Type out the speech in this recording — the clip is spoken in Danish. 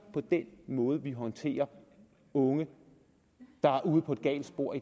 på den måde vi i dag håndterer unge der er ude på et galt spor